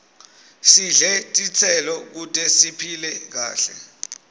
sidle titselo kute siphile kahle